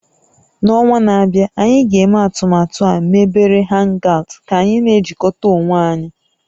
N'ọnwa na-abịa, anyị ga-eme atụmatụ a mebere hangout ka anyị na-ejikọta onwe anyị